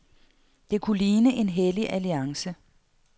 Det kunne ligne en hellig alliance.